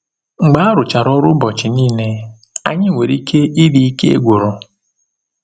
Mgbe arụchara ọrụ ụbọchị niile, anyị nwere ike ịdị ike gwụrụ.